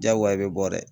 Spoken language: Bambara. Diyagoya i bɛ bɔ dɛ